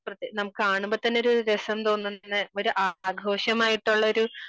നമുക്ക് കാണുമ്പോൾ തന്നെ ഒരു രസം തോന്നുന്ന ഒരു ആഘോഷമായിട്ടുള്ള ഒരു